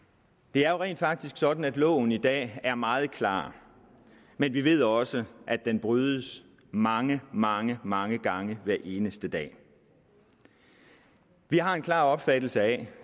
det er jo rent faktisk sådan at loven i dag er meget klar men vi ved også at den brydes mange mange mange gange hver eneste dag vi har en klar opfattelse af